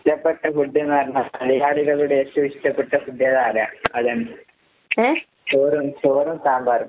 ഇഷ്ടപ്പെട്ട ഫുഡ്ന്ന് പറഞ്ഞാ മലയാളികളുടെ ഏറ്റോം ഇഷ്ടപ്പെട്ട ഫുഡ് ഏതാ അതാ അതാണ്. ചോറാണ്. ചോറും സാമ്പാറും.